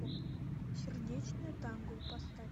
сердечное танго поставь